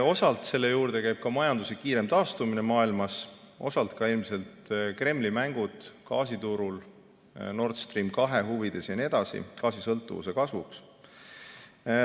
Osalt käib selle juurde majanduse kiirem taastumine maailmas, osalt ilmselt Kremli mängud gaasiturul Nord Stream 2 huvides jne, et gaasisõltuvus kasvaks.